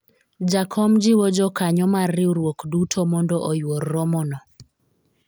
jakom jiwo jokanyo mar riwruok duto mondo oyuor romo no